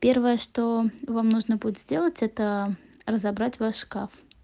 первое что вам нужно будет сделать это разобрать ваш шкаф